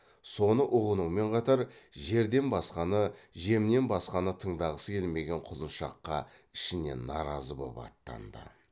соны ұғынумен қатар жерден басқаны жемнен басқаны тыңдағысы келмеген құлыншаққа ішінен наразы боп аттанды